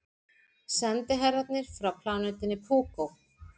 Sendiherrarnir frá plánetunni Púkó.